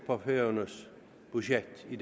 for færøernes budget i